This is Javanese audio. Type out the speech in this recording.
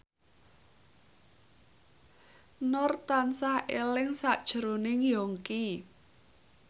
Nur tansah eling sakjroning Yongki